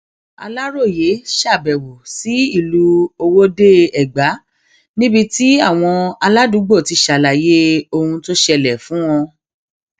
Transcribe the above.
aláròye ṣàbẹwò sí ìlú owódeègbà níbi tí àwọn aládùúgbò ti ṣàlàyé ohun tó ṣẹlẹ fún wa